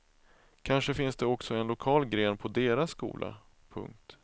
Kanske finns det också en lokal gren på deras skola. punkt